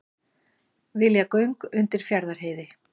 Vilja göng undir Fjarðarheiði